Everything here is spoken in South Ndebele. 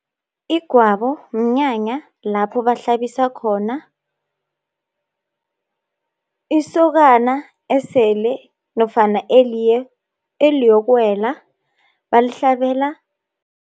Igwabo mnyanya lapho bahlabisa khona isokana esele, nofana eliyokuwela balihlabela